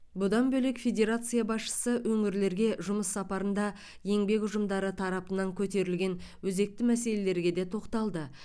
бұдан бөлек федерация басшысы өңірлерге жұмыс сапарында еңбек ұжымдары тарапынан көтерілген өзекті мәселелерге де тоқталды